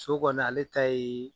So kɔni ale ta ye